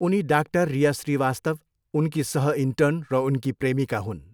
उनी डाक्टर रिया श्रीवास्तव, उनकी सह इन्टर्न र उनकी प्रेमिका हुन्।